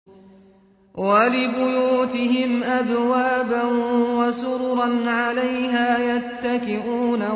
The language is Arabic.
وَلِبُيُوتِهِمْ أَبْوَابًا وَسُرُرًا عَلَيْهَا يَتَّكِئُونَ